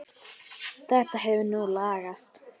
Þetta hefur nú lagast.